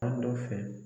Fan dɔ fɛ